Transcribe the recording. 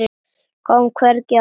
Kom hvergi auga á hana.